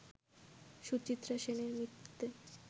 সুচিত্রা সেনের মৃত্যুতে